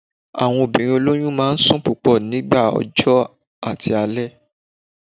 Àwọn obìnrin olóyún máa n sùn púpọ̀ ní nígbà ọjọ́ àti alẹ́